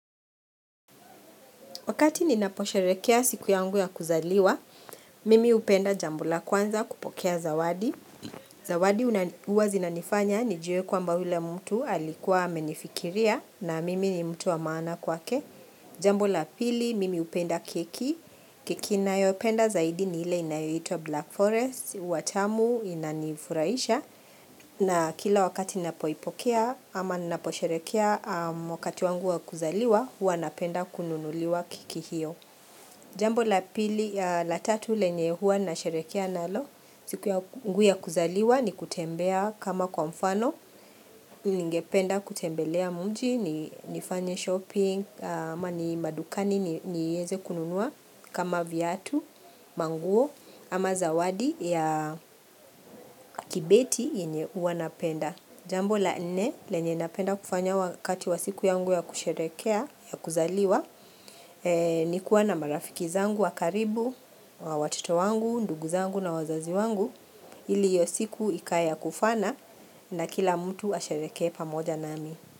Wakati ninaposharekea siku yangu ya kuzaliwa, mimi hupenda jambo la kwanza kupokea zawadi. Zawadi huaa zinanifanya nijue kwamba yule mtu alikuwa amenifikiria na mimi ni mtu wa maana kwake. Jambo la pili, mimi hupenda keki. Keki nayopenda zaidi ni ile inayoitwa Black Forest, hua tamu inanifuraisha. Na kila wakati napoipokea ama naposherekea wakati wangu wa kuzaliwa hua napenda kununuliwa keki hiyo. Jambo la pili, la tatu lenye huwa na sherekea nalo siku yangu ya kuzaliwa ni kutembea kama kwa mfano ni ngependa kutembelea muji, ni nifanye shopping ama ni madukani niweze kununua kama viatu, manguo ama zawadi ya kibeti yenye huwa napenda Jambo la nne lenye napenda kufanya wakati wa siku yangu ya kusherekea, ya kuzaliwa, ni kuwa na marafiki zangu wa karibu, wa watoto wangu, ndugu zangu na wazazi wangu, ili hioy siku ikaya kufana na kila mtu asherekea pamoja nami.